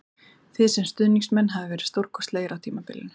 Þið sem stuðningsmenn hafið verið stórkostlegir á tímabilinu